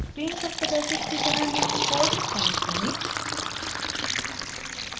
screen पर प्रदर्शित की तरह निम्न कोड टाइप करें